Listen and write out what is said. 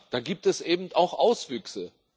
Da gibt es eben auch Auswüchse.